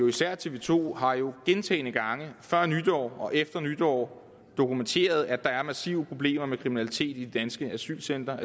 især tv to har jo gentagne gange før nytår og efter nytår dokumenteret at der er massive problemer med kriminalitet i de danske asylcentre